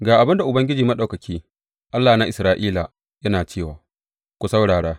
Ga abin da Ubangiji Maɗaukaki, Allah na Isra’ila, yana cewa ku saurara!